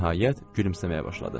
Nəhayət gülümsəməyə başladı.